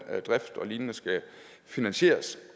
drift og lignende skal finansieres